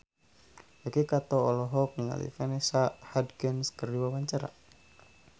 Yuki Kato olohok ningali Vanessa Hudgens keur diwawancara